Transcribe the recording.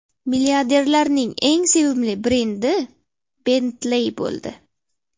Milliarderlarning eng sevimli brendi Bentley bo‘ldi.